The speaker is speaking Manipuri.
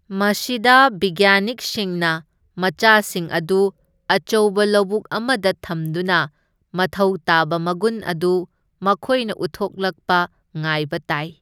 ꯃꯁꯤꯗ ꯕꯤꯒ꯭ꯌꯥꯅꯤꯛꯁꯤꯡꯅ ꯃꯆꯥꯁꯤꯡ ꯑꯗꯨ ꯑꯆꯧꯕ ꯂꯧꯕꯨꯛ ꯑꯃꯗ ꯊꯝꯗꯨꯅ ꯃꯊꯧ ꯇꯥꯕ ꯃꯒꯨꯟ ꯑꯗꯨ ꯃꯈꯣꯢꯅ ꯎꯠꯊꯣꯛꯂꯛꯄ ꯉꯥꯏꯕ ꯇꯥꯏ꯫